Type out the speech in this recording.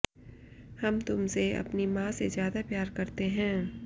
हम तुमसे अपनी मां से ज्यादा प्यार करते हैं